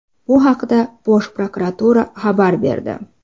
Bu haqda Bosh Prokuratura xabar berdi .